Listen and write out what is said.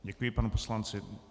Děkuji panu poslanci.